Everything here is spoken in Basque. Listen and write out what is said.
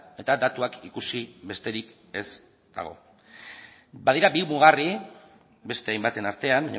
eta datuak ikusi besterik ez dago badira bi mugarri beste hainbaten artean